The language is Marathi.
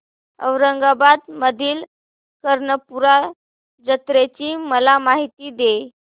औरंगाबाद मधील कर्णपूरा जत्रेची मला माहिती दे